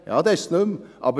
Ja, dann ist es nicht mehr.